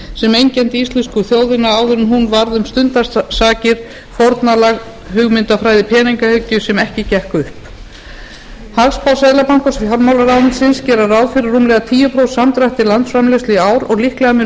sem einkenndi íslensku þjóðina áður en hún varð um stundarsakir fórnarlamb hugmyndafræði peningaauðgi sem ekki gekk upp hagspár seðlabankans og fjármálaráðuneytisins gera ráð fyrir rúmlega tíu prósent samdrætti landsframleiðslu í ár og líklega mun